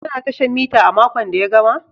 Ka na tashan mita a makon da ya gama?